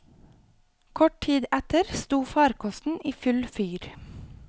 Kort tid etter sto farkosten i full fyr.